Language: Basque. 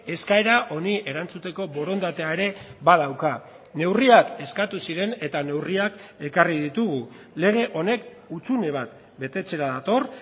eskaera honi erantzuteko borondatea ere badauka neurriak eskatu ziren eta neurriak ekarri ditugu lege honek hutsune bat betetzera dator